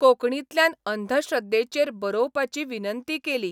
कोंकणींतल्यान अंधश्रद्धेचेर बरोवपाची विनंती केली.